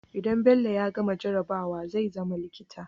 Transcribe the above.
idan bello ya gama jarabawa zai zama likita